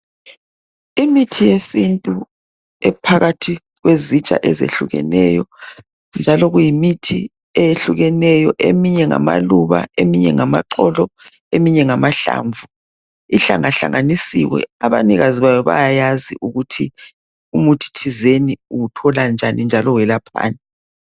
Imithi yesintu ephakathi kwezitsha ezehlukeneyo njalo kuyimithi eyehlukeneyo eminye ngamaluba eminye ngamaxolo eminye ngamahlamvu ihlanga hlanganisiwe abanikazi bawo bayawazi ukuthi umuthi ethizeni uwuthola njani njalo welaphani.